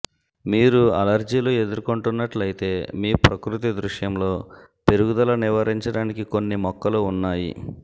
మీరు అలెర్జీలు ఎదుర్కొంటున్నట్లయితే మీ ప్రకృతి దృశ్యంలో పెరుగుదల నివారించడానికి కొన్ని మొక్కలు ఉన్నాయి